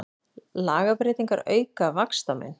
Lagabreytingar auka vaxtamun